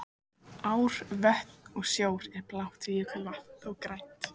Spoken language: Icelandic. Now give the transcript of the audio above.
Ár, vötn og sjór er blátt, jökulvatn þó grænt.